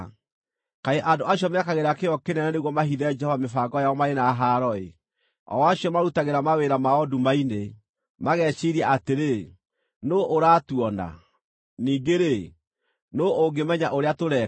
Kaĩ andũ acio mekagĩra kĩyo kĩnene nĩguo mahithe Jehova mĩbango yao marĩ na haaro-ĩ! O acio marutagĩra mawĩra mao nduma-inĩ, mageciiria atĩrĩ, “Nũũ ũratuona?” ningĩ-rĩ, “Nũũ ũngĩmenya ũrĩa tũreka?”